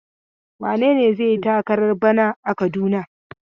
Wane ne zai yi takarar bana a Kaduna?